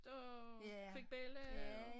Og fik belli pg